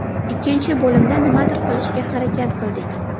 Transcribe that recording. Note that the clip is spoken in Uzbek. Ikkinchi bo‘limda nimadir qilishga harakat qildik.